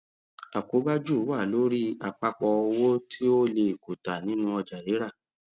àkóbá jù wà lórí àpapọ owó tí o lè kùtà nínú ọjà rírà